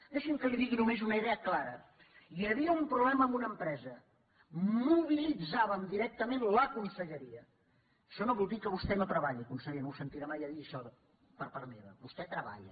deixi’m que li digui només una idea clara hi havia un problema amb una empresa mobilitzàvem directament la conselleria això no vol dir que vostè no treballi conseller no ho sentirà mai a dir això per part meva vostè treballa